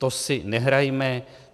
To si nehrajme.